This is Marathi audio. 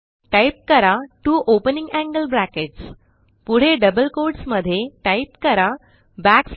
टाईप करा त्वो ओपनिंग एंगल ब्रॅकेट्स पुढे डबल कोट्स मध्ये टाईप करा न्